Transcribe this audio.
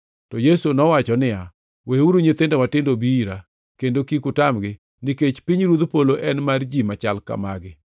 To Yesu nowacho niya, “Weuru nyithindo matindo obi ira, kendo kik utamgi, nikech pinyruodh polo en mar ji machal ka magi.”